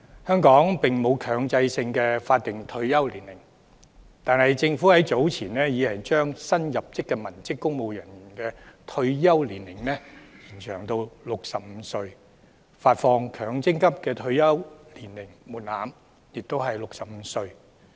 香港並沒有強制性的法定退休年齡，但政府早前已把新入職的文職公務員的退休年齡延長至65歲，發放強制性公積金的退休年齡門檻亦是65歲。